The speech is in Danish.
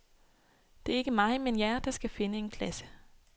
Det er ikke mig, men jer, der skal finde en klasse.